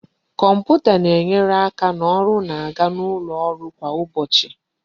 Kọmputa na-enyere aka na ọrụ na-aga n'ụlọ ọrụ kwa ụbọchị